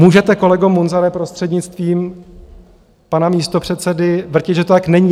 Můžete, kolego Munzare, prostřednictvím pana místopředsedy, vrtět, že to tak není.